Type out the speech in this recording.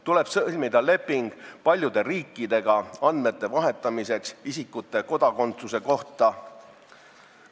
Tuleb sõlmida leping paljude riikidega andmete vahetamiseks isikute kodakondsuse kohta.